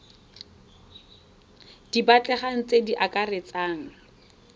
di batlegang tse di akaretsang